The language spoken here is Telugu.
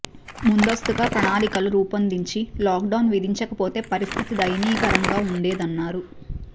ముందస్తుగా ప్రణాళికలు రూపొందించి లాక్ డౌన్ విధించకపోతే పరిస్థితి దయనీయంగా ఉండేదన్నారు